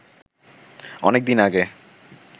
অনেক দিন আগে